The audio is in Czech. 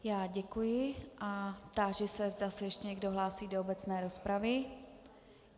Já děkuji a táži se, zda se ještě někdo hlásí do obecné rozpravy.